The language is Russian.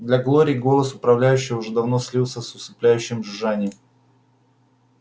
для глории голос управляющего уже давно слился с усыпляющим жужжанием